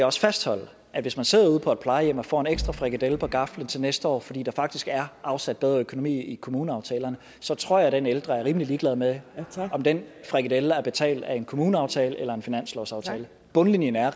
også fastholde at hvis man sidder ude på et plejehjem og får en ekstra frikadelle på gaflen til næste år fordi der faktisk er afsat bedre økonomi i kommuneaftalerne så tror jeg den ældre er rimelig ligeglad med om den frikadelle er betalt af en kommuneaftale eller en finanslovsaftale bundlinjen er at